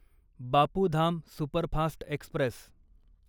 Bapu Dham superfast Express